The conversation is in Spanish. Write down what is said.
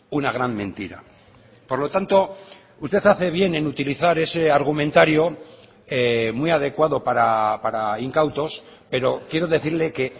una gran mentira por lo tanto usted hace bien en utilizar ese argumentario muy adecuado para incautos pero quiero decirle que